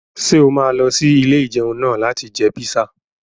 Ṣé o máa lọ sí ilé-ìjẹun náà láti jẹ píṣà?